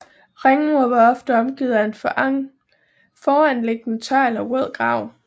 Ringmur var ofte omgivet af en foranliggende tør eller våd grav